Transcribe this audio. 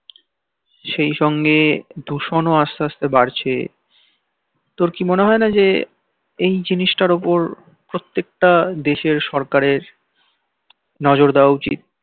সেই সঙ্গে দূষণ ও আস্তে আস্তে বাড়ছে তোর কি মনে হয় না যে এই জিনিসটার উপর প্রত্যেকটা দেশের সরকারে নজর দেওয়া উচিত